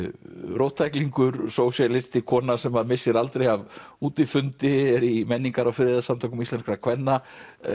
róttæklingur sósíalisti kona sem missir aldrei af útifundi er í menningar og friðarsamtökum íslenskra kvenna